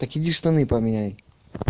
так иди штаны поменяй